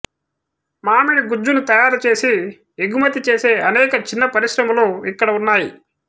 మామిడి గుజ్జును తయారుచేసి ఎగుమతి చేసే అనేక చిన్న పరిశ్రమలు ఇక్కడ ఉన్నాయి